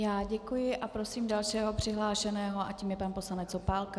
Já děkuji a prosím dalšího přihlášeného a tím je pan poslanec Opálka.